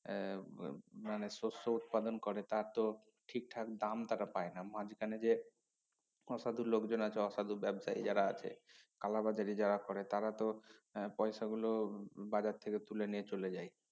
এর আহ মানে শস্য উৎপাদন করে তার তো ঠিকঠাক দাম তারা পায় না মাঝখানে যে অসাধু লোকজন আছে অসাধু ব্যবসায়ী যারা আছে কালাবাজারি যারা করে তারা তো আহ পয়সা গুলো উম বাজার থেকে তুলে নিয়ে চলে যায়